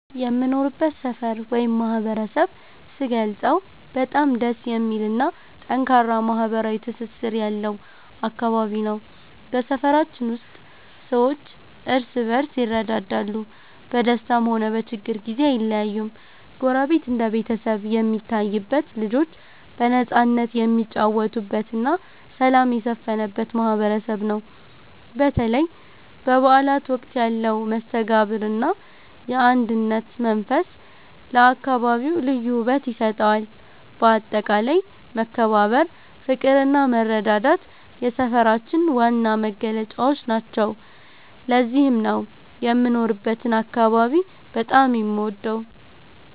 የምኖርበትን ሰፈር ወይም ማህበረሰብ ስገልጸው በጣም ደስ የሚልና ጠንካራ ማህበራዊ ትስስር ያለው አካባቢ ነው። በሰፈራችን ውስጥ ሰዎች እርስ በርስ ይረዳዳሉ፤ በደስታም ሆነ በችግር ጊዜ አይለያዩም። ጎረቤት እንደ ቤተሰብ የሚታይበት፣ ልጆች በነፃነት የሚጫወቱበትና ሰላም የሰፈነበት ማህበረሰብ ነው። በተለይ በበዓላት ወቅት ያለው መስተጋብርና የአንድነት መንፈስ ለአካባቢው ልዩ ውበት ይሰጠዋል። በአጠቃላይ መከባበር፣ ፍቅርና መረዳዳት የሰፈራችን ዋና መገለጫዎች ናቸው። ለዚህም ነው የምኖርበትን አካባቢ በጣም የምወደው።